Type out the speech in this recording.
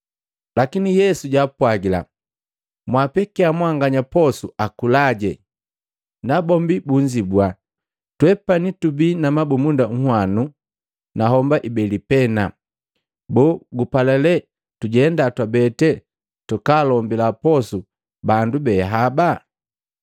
Lakini Yesu jaapwagila, “Mwaapekia mwanganya poso akulaje.” Nabombi bunzibua, “Twepani tubii na mabumunda unhwano na homba ibele pena. Boo gupala lee tujenda twabeti twakaalombila posu bandu behaba?”